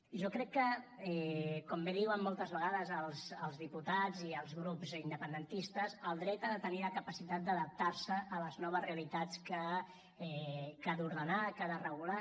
jo crec que com bé diuen moltes vegades els diputats i els grups independentistes el dret ha de tenir la capacitat d’adaptar se a les noves realitats que ha d’ordenar que ha de regular